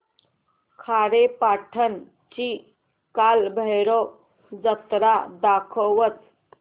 खारेपाटण ची कालभैरव जत्रा दाखवच